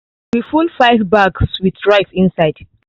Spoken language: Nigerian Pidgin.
we full five bags with rice inside